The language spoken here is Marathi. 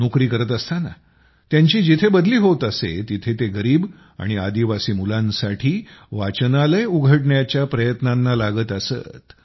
नोकरी करत असताना त्यांची जिथं बदली होत असे तिथं ते गरीब आणि आदिवासी मुलांसाठी वाचनालय उघडण्याच्या प्रयत्नांना लागत असत